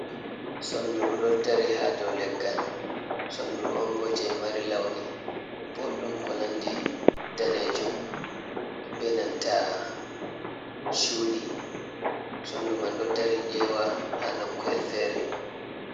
Sonduru ɗo dari ha dow leggal. Sonduru on bo jei mari launi boɗɗum ko nandi daneejum be nanta cuuɗi, sondu man ɗo dari eewa ha nokku’el fere.